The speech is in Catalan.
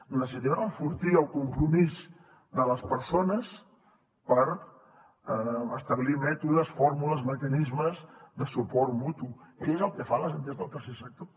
necessitem enfortir el compromís de les persones per establir mètodes fórmules mecanismes de suport mutu que és el que fan les entitats del tercer sector